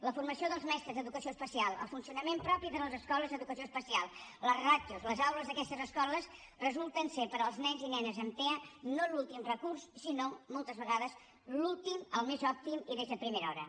la formació dels mestres d’educació especial el funcionament propi de les escoles d’educació especial les ràtios les aules d’aquestes escoles resulten ser per als nens i nenes amb tea no l’últim recurs sinó moltes vegades l’últim el més òptim i des de primera hora